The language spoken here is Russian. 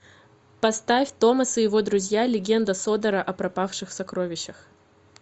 поставь томас и его друзья легенда содора о пропавших сокровищах